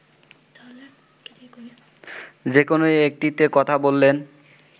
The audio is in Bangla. যেকোন একটিতে কথা বলেন